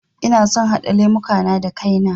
Ina son haɗa lemuka na da kai na